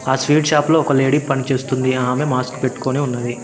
ఆ sweet shop లో ఒక లేడీ పని చేస్తుంది ఆమే మాస్క్ పెట్టుకొని ఉన్నది.